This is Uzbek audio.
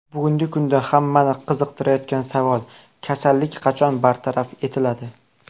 Bugungi kunda hammani qiziqtirayotgan savol, kasallik qachon bartaraf etiladi?